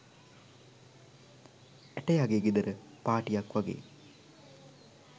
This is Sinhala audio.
ඇටයගේ ගෙදර පාටියක් වගේ